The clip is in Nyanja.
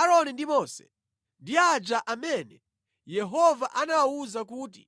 Aaroni ndi Mose ndi aja amene Yehova anawawuza kuti,